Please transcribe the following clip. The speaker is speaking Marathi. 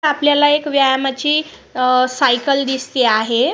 आपल्याला एक व्यायामाची अ सायकल दिसते आहे.